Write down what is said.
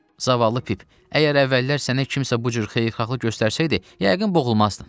Zavallı Pip, əgər əvvəllər sənə kimsə bu cür xeyirxahlıq göstərsəydi, yəqin boğulmazdın.